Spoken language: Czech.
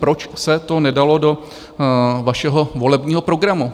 Proč se to nedalo do vašeho volebního programu?